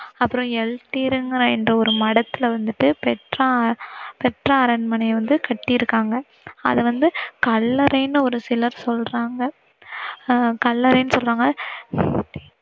அப்புறம் எல்டீர் இங்கிற இந்த ஒரு மடத்துல வந்துட்டு பெட்ரா, பெட்ரா அரண்மனைய வந்து கட்டிருக்காங்க. அத வந்து கல்லறைனு ஒரு சிலர் சொல்றங்க அஹ் கல்லறைனு சொல்றங்க.